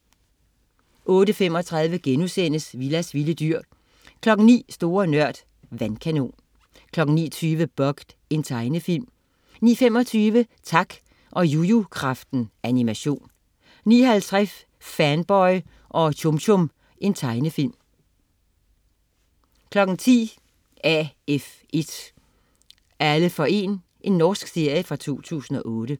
08.35 Willas vilde dyr* 09.00 Store Nørd. Vandkanon 09.20 Bugged. Tegnefilm 09.25 Tak og Jujukraften. Animation 09.50 Fanboy og Chum Chum. Tegnefilm 10.00 AF1. Alle for 1. Norsk serie fra 2008